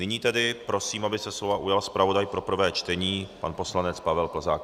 Nyní tedy prosím, aby se slova ujal zpravodaj pro prvé čtení pan poslanec Pavel Plzák.